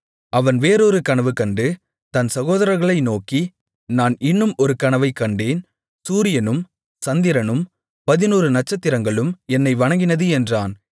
அவன் வேறொரு கனவு கண்டு தன் சகோதரர்களை நோக்கி நான் இன்னும் ஒரு கனவைக் கண்டேன் சூரியனும் சந்திரனும் பதினொரு நட்சத்திரங்களும் என்னை வணங்கினது என்றான்